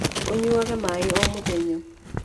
ũnyuage maĩ o mũthenya.